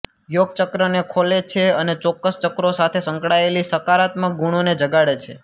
યોગ ચક્રને ખોલે છે અને ચોક્કસ ચક્રો સાથે સંકળાયેલી સકારાત્મક ગુણોને જગાડે છે